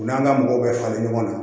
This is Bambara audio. U n'an ka mɔgɔw bɛ falen ɲɔgɔn na